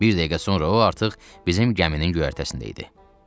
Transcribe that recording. Bir dəqiqə sonra o artıq bizim gəminin göyərtəsində idi.